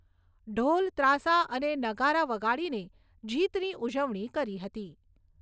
ઢોલ, ત્રાસા અને નગારા વગાડીને જીતની ઉજવણી કરી હતી.